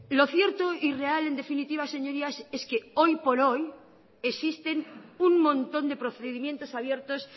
lo cierto y real en definitiva señorías es que hoy por hoy existen un montón de procedimientos abiertos